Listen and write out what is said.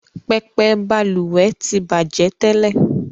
Pẹpẹ Balùwè ti bajẹ tẹ́lẹ̀